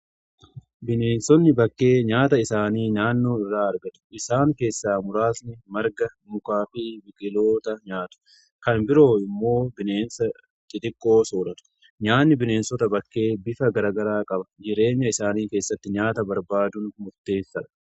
Bineensonni bakkee nyaata isaanii naannoo irraa argatu. Isaan keessa muraasni marga mukaa fi biqiloota nyaatu kan biroo immoo bineensa xixiqqoo sooratu. Nyaanni bineensota bakkee bifa garagaraa qaba jireenya isaanii keessatti nyaata barbaadun murteessadha.